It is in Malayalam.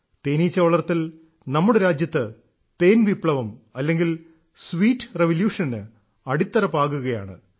തേനീച്ച വളർത്തൽ നമ്മുടെ രാജ്യത്ത് തേൻ വിപ്ലവം അല്ലെങ്കിൽ സ്വീറ്റ് റെവല്യൂഷന് അടിത്തറ പാകുകയാണ്